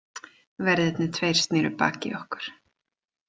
Verðirnir tveir sneru baki í okkur.